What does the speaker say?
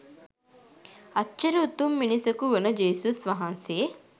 අච්චර උතුම් මිනිසකු වන ජේසුස් වහන්සේ